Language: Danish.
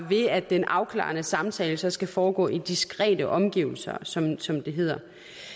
ved at den afklarende samtale skal foregå i diskrete omgivelser som som det hedder